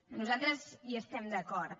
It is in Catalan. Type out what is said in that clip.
nosaltres hi estem d’acord